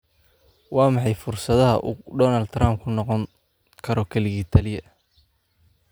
Waa maxay fursadaha uu Donald Trump ku noqon karo kaligii taliye?